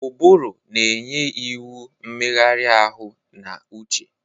Ụbụrụ na-enye iwu mmegharị ahụ na uche.